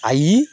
Ayi